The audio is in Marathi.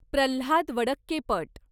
प्रह्लाद वडक्केपट